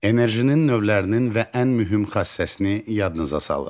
Enerjinin növlərinin və ən mühüm xassəsini yadınıza salın.